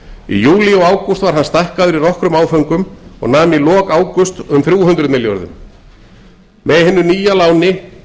í júlí og ágúst var hann stækkaður í nokkrum áföngum og nam í lok ágúst um þrjú hundruð milljörðum með hinu nýja láni